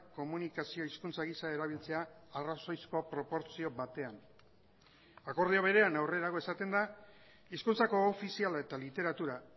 komunikazio hizkuntza gisa erabiltzea arrazoizko proportzio batean akordio berean aurrerago esaten da hizkuntza koofiziala eta literatura